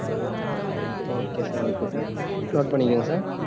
ஹான் okaysir okaysir note பண்ணிக்கிங்க sir